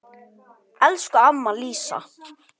Elsku amma Lísa.